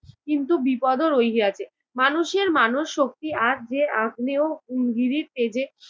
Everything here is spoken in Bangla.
কিন্তু বিপদও রহিয়াছে। মানুষের মানব শক্তি আজ যে আগ্নেয় উঙ্গীরির তেজে